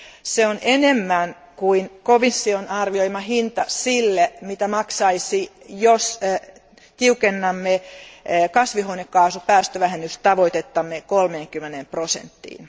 Se on enemmän kuin komission arvioima hinta sille, mitä maksaisi, jos tiukentaisimme kasvihuonekaasupäästövähennystavoitettamme 30 prosenttiin.